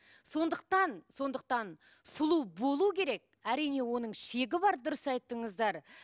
сондықтан сондықтан сұлу болу керек әрине оның шегі бар дұрыс айттыңыздар